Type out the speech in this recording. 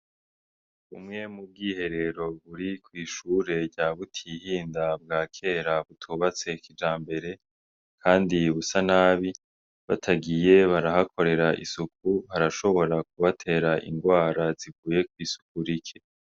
Bumwe buri mu bwiherero buri kwi shure rya Butihinda bwa kera butubatse kijambere busa nabi batagiye barahakorera isuku harashobora kubatera ingwara zivuye kwisuku rike.